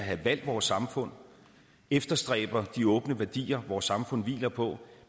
har valgt vores samfund og efterstræber de åbne værdier vores samfund hviler på